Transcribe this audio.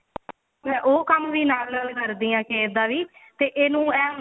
ਉਹ ਕੰਮ ਵੀ ਨਾਲ ਕਰਦੀ ਆਂ ਕੀ ਇੱਦਾਂ ਨੀ ਤੇ ਇਹਨੂੰ ਇਹ ਹੁੰਦਾ